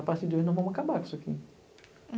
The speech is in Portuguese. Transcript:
A partir de hoje nós vamos acabar com isso aqui.